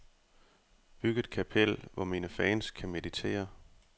Byg et kapel, hvor mine fans kan meditere.